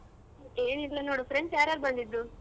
ಏನಿಲ್ಲ ನೋಡು friends ಯಾರ್ಯಾರು ಬಂದಿದ್ರು?